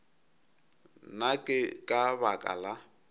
na ke ka baka la